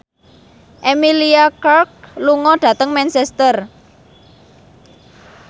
Emilia Clarke lunga dhateng Manchester